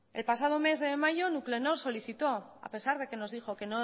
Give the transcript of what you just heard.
el pasado mes de mayo nuclenor solicitó a pesar de que nos dijo que